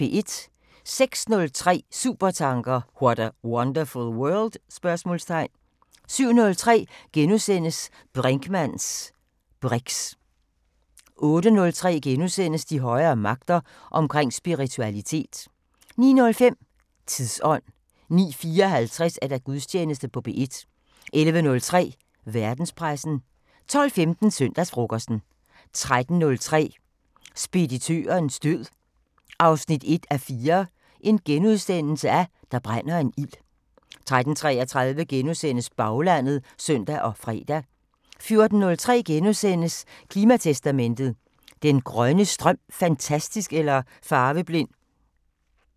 06:03: Supertanker: What a wonderful world? 07:03: Brinkmanns briks * 08:03: De højere magter: Omkring spiritualitet * 09:05: Tidsånd 09:54: Gudstjeneste på P1 11:03: Verdenspressen 12:15: Søndagsfrokosten 13:03: Speditørens død 1:4 – Der brænder en ild * 13:33: Baglandet *(søn og fre) 14:03: Klimatestamentet: Er den grønne strøm fantastisk eller farveblind? *